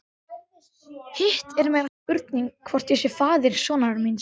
Hitt er meiri spurning hvort ég sé faðir sonar míns.